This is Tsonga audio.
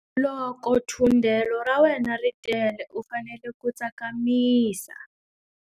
Loko thundelo ra wena ri tele u fanele ku tsakamisa.